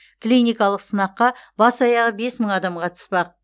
клиникалық сынаққа бас аяғы бес мың адам қатыспақ